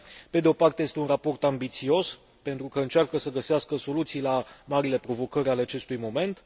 Pe de o parte, este un raport ambițios, pentru că încearcă să găsească soluții la marile provocări ale acestui moment